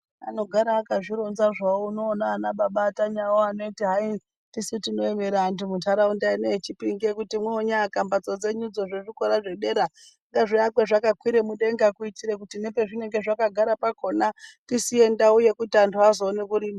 Anogara akazvironza zvawo uno nanaBabaTanyawo anoti hai tisu tinoemera antu muntaraunda ino yeChipinge, Kuti ,Monyaaka mbatso dzenyudzo dzezvikora zvedera, ngazviakwe zvakakwire mudenga kuitire kuti nepezvinenge zvakagara pakona, tisiye ndau yekuti antu azoone kurima.